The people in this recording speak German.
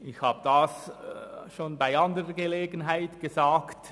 Ich habe dies schon bei anderer Gelegenheit gesagt.